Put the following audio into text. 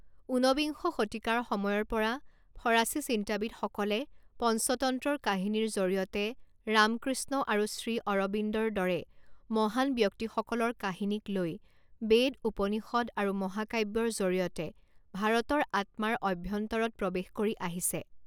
উনবিংশ শতিকাৰ সময়ৰ পৰা ফৰাছী চিন্তাবিদসকলে পঞ্চতন্ত্ৰৰ কাহিনীৰ জৰিয়তে ৰাম কৃষ্ণ আৰু শ্ৰী অৰবিন্দৰ দৰে মহান ব্যক্তিসকলৰ কাহিনীক লৈ বেদ, ঊপনিষদ আৰু মহাকাব্যৰ জৰিয়তে ভাৰতৰ আত্মাৰ অভ্যন্তৰত প্ৰৱেশ কৰি আহিছে।